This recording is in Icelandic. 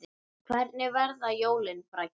Hvernig verða jólin, Bragi?